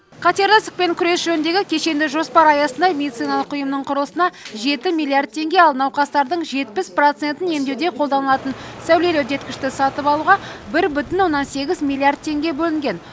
қатерлі ісікпен күрес жөніндегі кешенді жоспар аясында медициналық ұйымның құрылысына жеті миллиард теңге ал науқастардың жетпіс процентін емдеуде қолданылатын сәулелі үдеткішті сатып алуға бір бүтін оннан сегіз миллиард теңге бөлінген